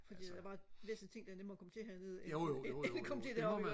fordi der var væsentlige ting der er nemmere at komme til hernede end at komme til deroppe